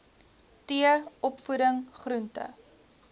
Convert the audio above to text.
t opvoeding groente